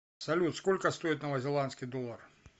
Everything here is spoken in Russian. салют сколько стоит новозеландский доллар